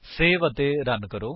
save ਅਤੇ run ਕਰੋ